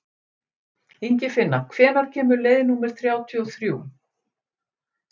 Ingifinna, hvenær kemur leið númer þrjátíu og þrjú?